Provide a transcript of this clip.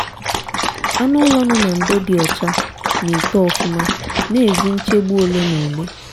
anụ ụlọ nọ na ndo dị ocha na eto ofuma na ezi nchegbu ole na ole